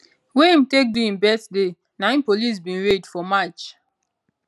wey im take do im birthday na im police bin raid for march